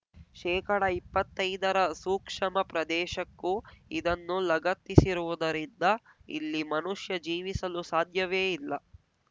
ಶೇಕಡಇಪ್ಪತ್ತೈದರ ಸೂಕ್ಷಮ ಪ್ರದೇಶಕ್ಕೂ ಇದನ್ನು ಲಗತ್ತಿಸಿರುವುದರಿಂದ ಇಲ್ಲಿ ಮನುಷ್ಯ ಜೀವಿಸಲು ಸಾದ್ಯವೇ ಇಲ್ಲ